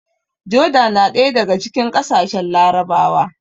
Joda na ɗaya daga cikin ƙasashen Larabawa